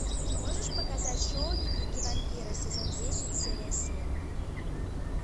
можешь показать шоу дневники вампира сезон десять серия семь